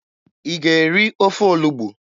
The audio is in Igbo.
Ị ga-eri ofe olugbu?